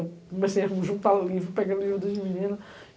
Eu comecei a juntar livro, pegando livro de menina.